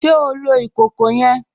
Ṣe o lọ ikọkọ yẹn?